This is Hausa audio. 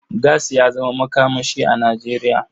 Gas ya zama makamashi a Nijeriya.